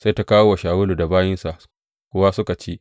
Sai ta kawo wa Shawulu da bayinsa suka kuwa ci.